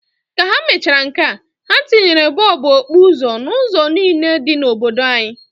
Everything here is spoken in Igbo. Ka ha mechara nkea, ha tinyere bọọbụ okpuzo n'ụzọ niine dị n'obodo anyi.